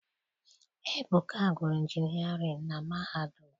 Ebuka gụrụ injinịarịn na mahadum.